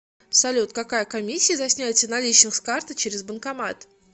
салют какая комиссия за снятие наличных с карты через банкомат